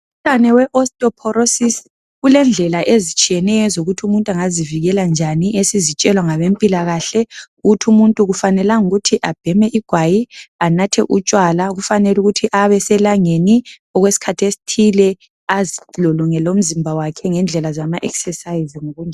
Umkhuhlane owe osteoporosis ulendlela ezitshiyeneyo ezokuthi umuntu angazivikela njani esizitshelwa ngabempilakahle ukuthi umuntu akufanelanga ukuthi abheme igwayi, anathe utshwala ufanele ukuthi abe eselangeni okwesikhathi esithile azilolongwe lomzimba wakhe ngendlela zama exercises.